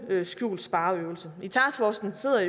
skjult spareøvelse i taskforcen sidder